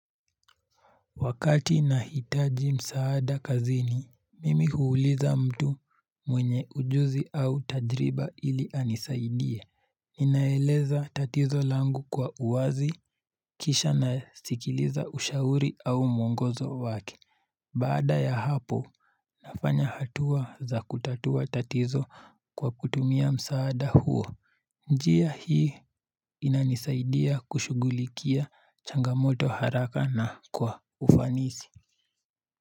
Wakati nahitaji msaada kazini, mimi huuliza mtu mwenye ujuzi au tajriba ili anisaidie. Ninaeleza tatizo langu kwa uwazi, kisha nasikiliza ushauri au mwongozo wake. Baada ya hapo, nafanya hatua za kutatua tatizo kwa kutumia msaada huo. Njia hii inanisaidia kushugulikia changamoto haraka na kwa ufanisi.